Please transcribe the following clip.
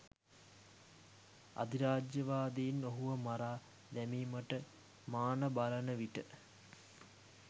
අධිරාජ්‍යවාදීන් ඔහුව මරා දැමීමට මාන බලනවිට